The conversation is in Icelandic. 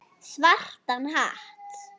Svartan hatt.